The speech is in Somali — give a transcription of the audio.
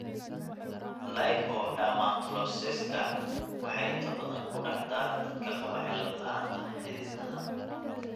Lipodermatosclerosiska waxay inta badan ku dhacdaa dadka qaba cillad la'aanta xididdada.